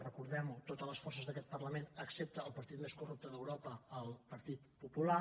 recordem ho totes les forces d’aquest parlament excepte el partit més corrupte d’europa el partit popular